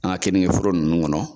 An ka keningeforo ninnu kɔnɔ